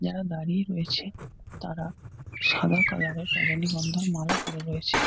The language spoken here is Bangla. যারা দাড়িয়ে রয়েছে তারা সাদা কালার -এর রজনীগন্ধার মালা পড়ে রয়েছে।